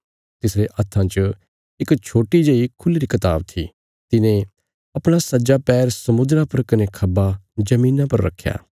तिसरे हत्था च इक छोट्टी जेई खुल्ही री कताब थी तिने अपणा सज्जा पैर समुद्रा पर कने खब्बा धरतिया पर रखया